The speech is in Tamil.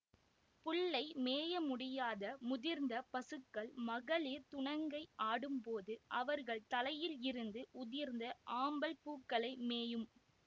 புல்லை மேயமுடியாத முதிர்ந்த பசுக்கள் மகளிர் துணங்கை ஆடும்போது அவர்கள் தலையிலிருந்து உதிர்ந்த ஆம்பல் பூக்களை மேயும்